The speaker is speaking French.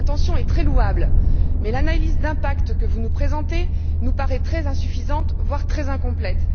L'intention est très louable, mais l'analyse d'impact que vous nous présentez nous paraît très insuffisante, voire très incomplète.